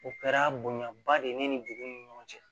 O kɛra bonyaba de ye ne ni dugu ni ɲɔgɔn cɛ